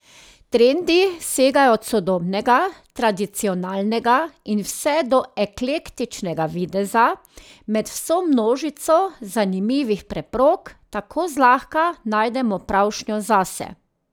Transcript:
Trendi segajo od sodobnega, tradicionalnega in vse do eklektičnega videza, med vso množico zanimivih preprog tako zlahka najdemo pravšnjo zase.